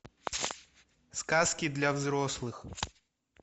сказки для взрослых